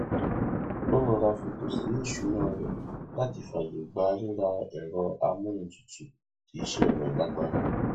ó rọra fètò sí ìṣúná rẹ láti fààyè gbà rírà ẹrọ amóhuntutù tí iṣẹ rẹ lágbára